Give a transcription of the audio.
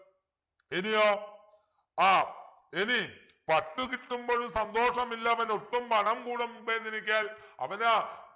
ഇനിയൊ ആഹ് ഇനി പട്ടു കിട്ടുമ്പോഴും സന്തോഷമില്ലവനൊട്ടും പണം കൂടെ മുമ്പേ നിനയ്ക്കയാൽ അവനു